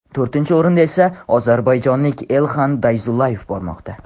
To‘rtinchi o‘rinda esa ozarbayjonlik Elxan Dayzullayev bormoqda.